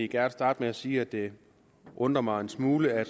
gerne starte med at sige at det undrer mig en smule at